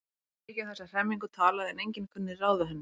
Var mikið um þessa hremmingu talað en enginn kunni ráð við henni.